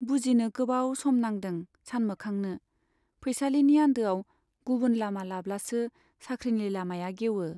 बुजिनो गोबाव सम नांदों सानमोखांनो, फैसालिनि आन्दोआव गुबुन लामा लाब्लासो साख्रिनि लामाया गेवो।